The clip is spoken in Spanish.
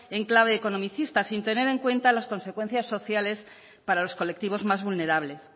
en clave economicista sin tener en cuenta las consecuencias sociales para los colectivos más vulnerables